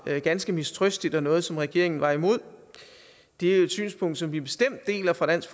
ganske mistrøstigt og noget som regeringen var imod det er jo et synspunkt som vi bestemt deler fra dansk